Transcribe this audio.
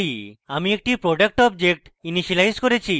আমি একটি product object initialise করেছি